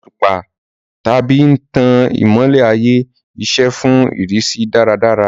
Àtùpà tábìlì ń tan ìmọ́lẹ̀ ààyè-iṣẹ́ fún ìrísí dáradára.